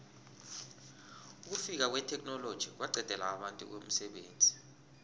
ukufika kwetheknoloji kwaqedela abantu umsebenzi